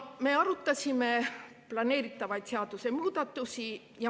Me arutasime planeeritavaid seadusemuudatusi.